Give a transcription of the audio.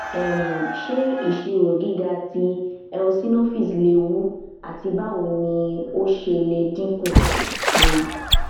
um ṣe iṣiro giga ti eosinophils lewu ati bawo ni o ṣe le dinku um